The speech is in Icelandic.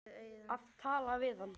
Að tala við hana!